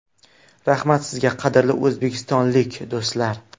Rahmat sizga, qadrli o‘zbekistonlik do‘stlar!